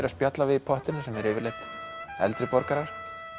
að spjalla við í pottinum sem eru yfirleitt eldri borgarar